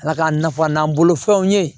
Ala k'a nafa n'an bolo fɛnw ye